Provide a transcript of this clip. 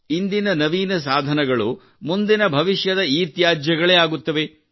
ಇಂದಿನ ನವೀನ ಸಾಧನಗಳು ಮುಂದಿನ ಭವಿಷ್ಯದ ಇತ್ಯಾಜ್ಯಗಳೇ ಆಗುತ್ತವೆ